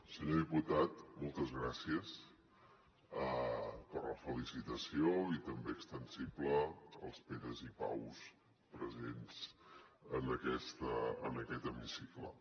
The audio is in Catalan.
senyor diputat moltes gràcies per la felicitació i també extensible als peres i paus presents en aquest hemicicle